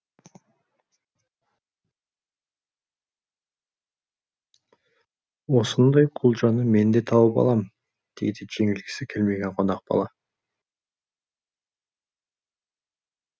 осындай құлжаны мен де тауып алам дейді жеңілгісі келмеген қонақ бала